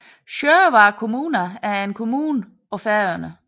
Sjóvar kommuna er en kommune på Færøerne